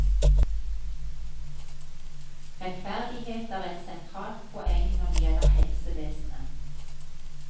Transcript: Rettferdighet er et sentralt poeng når det gjelder helsevesenet.